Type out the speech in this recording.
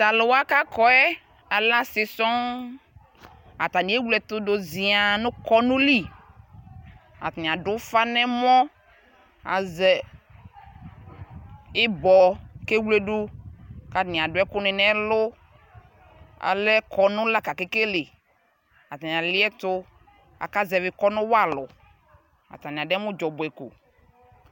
talʋ wa kʋ akɔɛ lɛ asii sɔɔn, atani ɛwlɛ ɛtʋ dʋ ziaa nʋkɔnʋ li atani adʋ ɔƒa nʋ ɛmɔ, azɛ ibɔ kʋ ɛwlʋdi kʋatani adʋ ɛkʋni nʋɛlʋ, alɛ kɔnʋ lakʋ aka kɛlɛ, atani aliɛtʋ aka zɛvi kɔnʋ wa alʋ, atani adɛmʋ dzɔbʋɛ kɔ